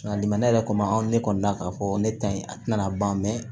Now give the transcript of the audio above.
ne yɛrɛ ko anw ne kɔni na k'a fɔ ne ta in a tɛna ban